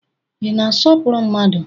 Ị na-asọpụrụ mmadu?